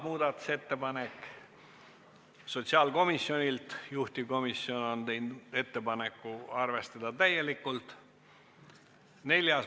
Muudatusettepanek nr 3 on ka sotsiaalkomisjonilt, juhtivkomisjon on teinud ettepaneku arvestada seda täielikult.